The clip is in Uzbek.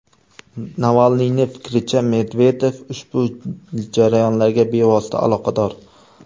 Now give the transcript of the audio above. Navalniyning fikricha, Medvedev ushbu jarayonlarga bevosita aloqador.